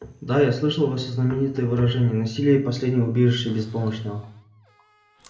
да я слышал ваше знаменитое выражение насилие последнее убежище беспомощного